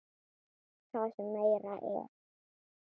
Það sem meira er.